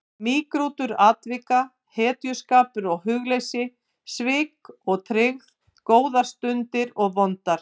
Mýgrútur atvika, hetjuskapur og hugleysi, svik og tryggð, góðar stundir og vondar.